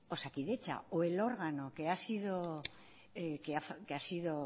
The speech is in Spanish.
osakidetza o el órgano que ha sido